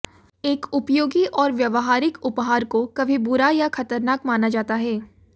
एक उपयोगी और व्यावहारिक उपहार को कभी बुरा या खतरनाक माना जाता है